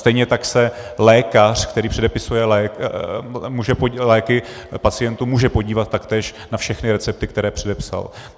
Stejně tak se lékař, který předepisuje léky pacientům, může podívat taktéž na všechny recepty, které předepsal.